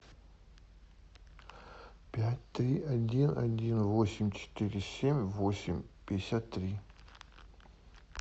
пять три один один восемь четыре семь восемь пятьдесят три